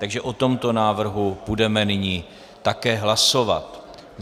Takže o tomto návrhu budeme nyní také hlasovat.